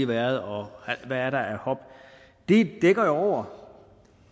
været og hvad der er af hop det dækker jo over